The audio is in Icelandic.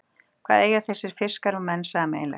Hvað eiga þessir fiskar og menn sameiginlegt?